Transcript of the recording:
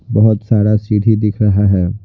बहुत सारा सीढ़ी दिख रहा है।